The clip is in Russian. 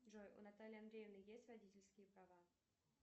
джой у натальи андреевны есть водительские права